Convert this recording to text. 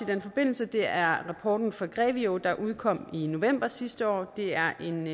den forbindelse er rapporten fra grevio der udkom i november sidste år det er en